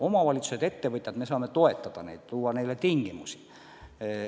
Omavalitsused, ettevõtjad – me saame neid toetada, luua neile tingimusi.